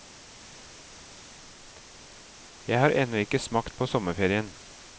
Jeg har ennå ikke smakt på sommerferien.